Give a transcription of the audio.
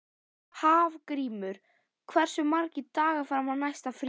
Hafgrímur, hversu margir dagar fram að næsta fríi?